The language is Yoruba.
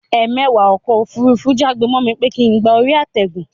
Ẹmẹ̀wà ọkọ̀ òfurufú já gbe mọ́ mi pé kín gba orí àtẹ̀gùn